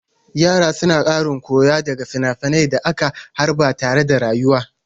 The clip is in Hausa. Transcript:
Yara suna ƙarin koyo daga finafinan da aka harba tare da rayarwa.